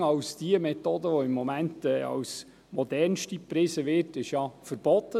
Das Fracking, welches momentan als modernste Methode gepriesen wird, ist ja verboten.